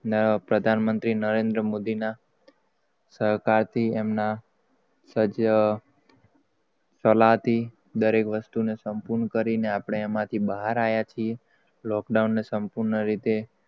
નવા પ્રધાનમંત્રી નરેન્દ્ર મોદીના સહકાર થી એમના સજ સલા થી દરેક વસ્તુ ને સંપૂર્ણ કરીને આપડે એમ થી બહાર lockdown ને સંપૂર્ણ રીતે